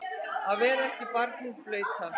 Að verða ekki barnið blauta